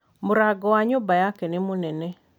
Mũrango wa nyũmba yake nĩ mũnene